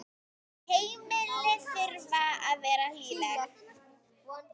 Heimili þurfa að vera hlýleg.